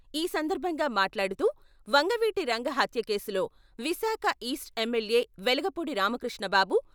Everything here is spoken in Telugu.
ఈ సందర్భం గా మాట్లాడుతూ, వంగవీటి రంగ హత్య కేసులో విశాఖ ఈస్ట్ ఎమ్మెల్యే వెలగపూడి రామకృష్ణ బాబు